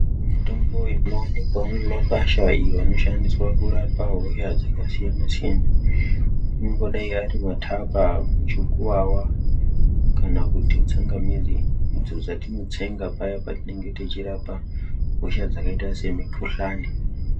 Mitombo inowanikwa makwasha iyo inoshandiswa kurapa hosha dzakasiyana siyana inongodai Ari matapa muchukuwawa kana kuti tsanga midzi idzi dzatinotsenga paya paya patinenge tichirapa hosha dzakaita semukuhlani.